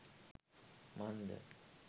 මන්ද